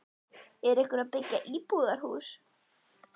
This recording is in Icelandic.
Er einhver að byggja íbúðarhús?